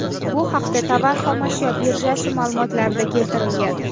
Bu haqda Tovar xom ashyo birjasi ma’lumotlarida keltirilgan .